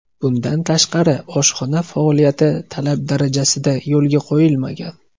Bundan tashqari, oshxona faoliyati talab darajasida yo‘lga qo‘yilmagan.